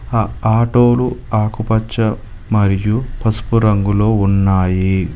ఆ ఆటోలు ఆకుపచ్చ మరియు పసుపు రంగులో ఉన్నాయి.